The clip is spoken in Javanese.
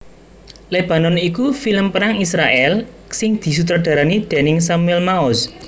Lebanon iku film perang Israèl sing disutradarani déning Samuel Maoz